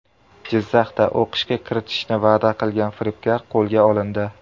Jizzaxda o‘qishga kiritishni va’da qilgan firibgar qo‘lga olindi.